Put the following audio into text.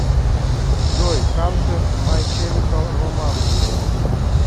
джой кансер май чемикал романс